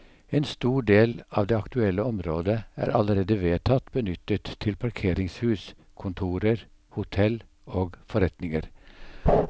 En stor del av det aktuelle området er allerede vedtatt benyttet til parkeringshus, kontorer, hotell og forretninger.